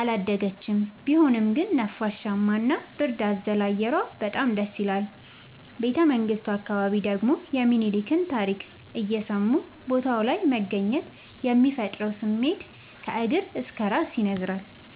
አላደገችም ቢሆንም ግን ነፋሻማ እና ብርድ አዘል አየሯ በጣም ደስይላል። ቤተመንግቱ አካባቢ ደግሞ የሚኒልክን ታሪክ እየሰሙ ቦታው ላይ መገኘት የሚፈጥረው ስሜት ከእግር እስከ እራስ ያስነዝራል።